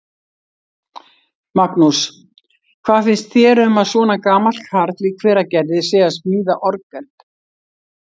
Magnús: Hvað finnst þér um að svona gamall karl í Hveragerði sé að smíða orgel?